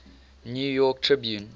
new york tribune